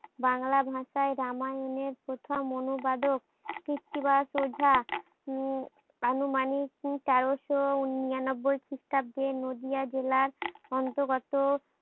বাংলা ভাষায় রামায়ণের প্রথম অনুবাদক কৃত্তিবাস ওঝা উম আনুমানিক তেরোশো নিরানব্বই খ্রিস্টাব্দে নদীয়া জেলার অন্তরগত